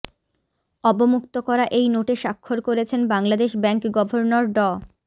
অবমুক্ত করা এই নোটে স্বাক্ষর করেছেন বাংলাদেশ ব্যাংক গভর্নর ড